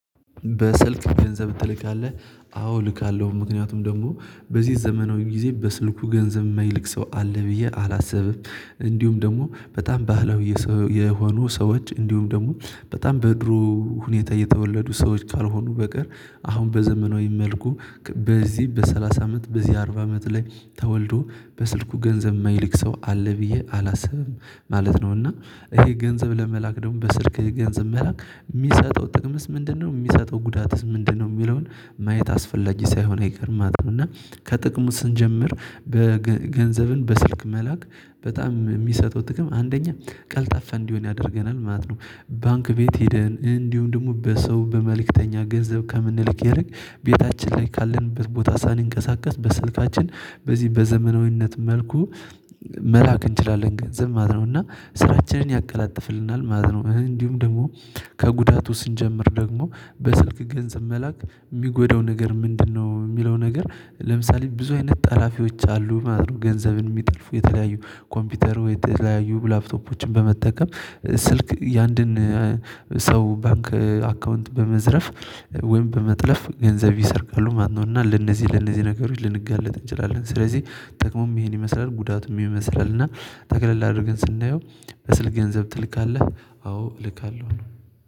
በስልክ ገንዘብ ትልካለህ አዎ እልካለሁ ምክንያቱም ደግሞ በዚህ ዘመናዊ ጊዜ በስልኩ ገንዘብ የማይልቅ ሰው አለ ብዬ አላሰብም እንዲሁም ደግሞ በጣም ባህላዊ የሆኑ ሰዎች እንዲሁም ደግሞ በጣም በድሮ ሁኔታ እየተወለዱ ሰዎች ካልሆኑ በቀር አሁን በዘመናዊ መልኩ በዚህ በሰላሳ አመት በዚህ አርባ አመት ላይ ተወልዶ በስልኩ ገንዘብ የማይልክ ሰው አለ ብዬ አላስብም ማለት ነው። እና ይሄ ገንዘብ ለመላክ ደግሞ በስልክ ገንዘብ መላክ የሚሰጠው ጥቅምስ ምንድነው የሚሰጠው ጉዳትስ ምንድነው? የሚለውን ማየት አስፈላጊ ሳይሆን አይቀርምም እና ከጥቅሙ ስንጀምር በገንዘብን በስልክ መላክ በጣም የሚሰጠው ጥቅም አንደኛ ቀልጣፋ እንዲሆን ያደርገናል ማለት ነው። ባንክ ቤት ሄደን እንዲሁ ደግሞ ሰው በመልእክተኛ ገንዘብ ከምንልክ ይርቅ ቤታችን ላይ ካለንበት ቦታ ሳንንቀሳቀስ በስልካችን በዚህ በዘመናዊነት መልኩ መላክ እንችላለን ገንዘም ማለትለውና ስራችንን ያቀላጥፍልናል ማለት ነው። እንዲሁም ደግሞ ከጉዳቱ ስንጀምር ደግሞ በስልክ ገንዘብ መላክ የሚጎዳው ነገር ምንድነው የሚለው ነገር ለምሳሌ ብዙ አይነት ጠላፊዎች አሉ ማለት ነው ገንዘብን የሚጥልፉ የተለያዩ ኮምፒውተሩ የተለያዩ ላፕቶፖችን በመጠቀም ስኀልክ የአንድን ሰው ባንክ አካውንት በመዝረፍ ወይም በመጥለፍ ገንዘብ ይሰርቃሉ። ማነው እና ለነዚህ ለነዚህ ነገሮች ልንጋለጥ እንችላለን። ስለዚህ ጥቅሙም ይሄን ይመስላል ጉዳቱም ይመስላል እና ተከለል አድርገን ስናየው በስል ገንዘብ ትልካለህ አዎ እልካለሁ ነው።